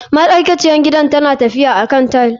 Ma'aikaciyar gidan tana tafiya akan tiles.